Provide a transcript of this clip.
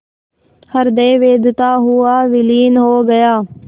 हृदय वेधता हुआ विलीन हो गया